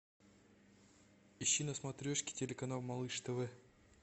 ищи на смотрешке телеканал малыш тв